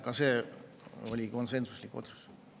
Ka see oli konsensuslik otsus.